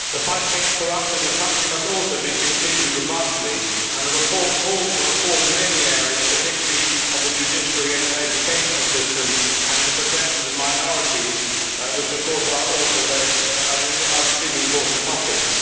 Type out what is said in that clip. The fight against corruption in the country must also be continued robustly and the report calls for reform in many areas, particularly of the judiciary and education systems and in the protection of minorities, which of course are extremely important topics.